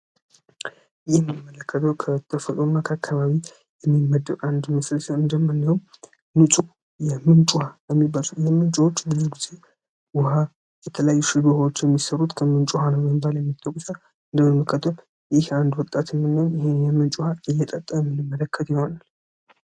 ይህ መለከቶ ከተፈጥሮና ከአከባቢ የሚመደቅ አንድ መስለስ እንደምንውም ንፁ የምንጭ ውሀ የሚበለ የምንጩዎች ጊዜ ውሃ በተላይ ሽዱኋዎች የሚሠሩት ከምንጩሃንወንባል የሚተቁሰ እንደመመከት። ይህ አንድ ወጣትምንን ይህን የምንጩሃ እየጠጠ የሚንመለከት ይሆናል።